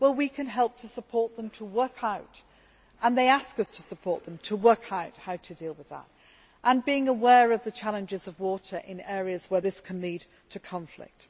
We can help to support them to work out and they ask us to support them to work out how to deal with that, being aware of the challenges of water in areas where this can lead to conflict.